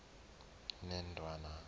yendwana